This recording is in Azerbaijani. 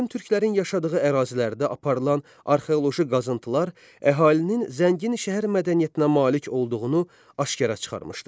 Qədim türklərin yaşadığı ərazilərdə aparılan arxeoloji qazıntılar əhalinin zəngin şəhər mədəniyyətinə malik olduğunu aşkara çıxarmışdır.